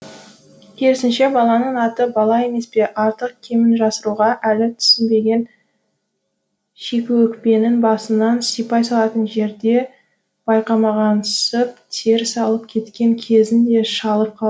керісінше баланың аты бала емес пе артық кемін жасыруға әлі шикі өкпенің басынан сипай салатын жерде байқамағансып теріс кеткен кезін де шалып